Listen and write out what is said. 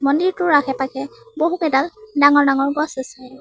মন্দিৰটোৰ আশে পাশে বহুকেইডাল ডাঙৰ ডাঙৰ গছ আছে।